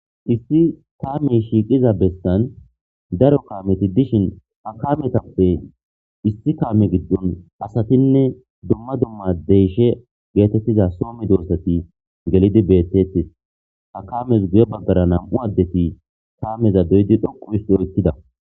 Issi taamey shiiqiza bestan daro kaameti dishin akametappe issi kaame giddon asatinne dumma dumma deyshe geetettiza soomi doossati gelidi bettettis akames guyo baggara nam7u addeti taameza beydi dhoqu isto ykkida.